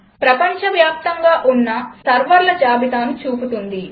ప్రపంచవ్యాప్తంగా ఉన్న సర్వర్ల జాబితాను చూపుతుంది